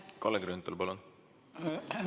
Kalle Grünthal, palun!